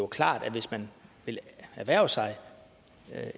klart at hvis man vil erhverve sig